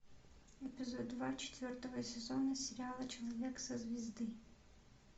эпизод два четвертого сезона сериала человек со звезды